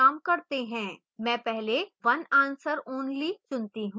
मैं पहले one answer only चुनती choose